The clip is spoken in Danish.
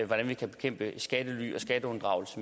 hvordan vi kan bekæmpe skattely og skatteunddragelse